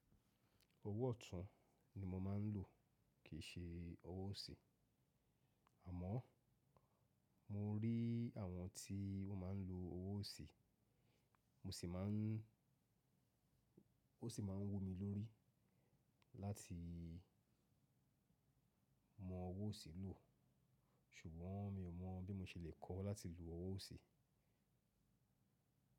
Owó ọ̀tún ni mo máa ń lò kì í ṣe owó òṣì, àmọ́ mo rí àwọn tí wọ́n máa ń lo owó òṣì, mo sì máa ń, ó sì máa ń wò mí lórí láti mọ owó òṣì lò, ṣùgbọ́n mi ò mọ̀ bí mo ṣe lè kọ́ láti lo owó òṣì.